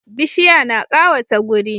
Bishiya na kawata guri